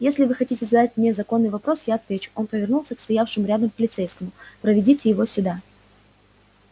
если вы хотите задать мне законный вопрос я отвечу он повернулся к стоявшему рядом полицейскому проведите его сюда